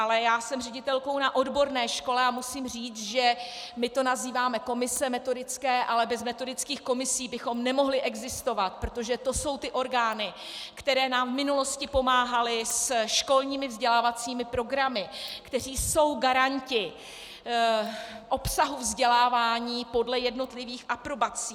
Ale já jsem ředitelkou na odborné škole a musím říct, že my to nazýváme komise metodické, a bez metodických komisí bychom nemohli existovat, protože to jsou ty orgány, které nám v minulosti pomáhaly se školními vzdělávacími programy, které jsou garanty obsahu vzdělávání podle jednotlivých aprobací.